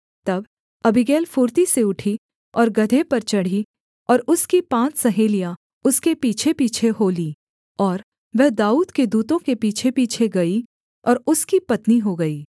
तब अबीगैल फुर्ती से उठी और गदहे पर चढ़ी और उसकी पाँच सहेलियाँ उसके पीछेपीछे हो लीं और वह दाऊद के दूतों के पीछेपीछे गई और उसकी पत्नी हो गई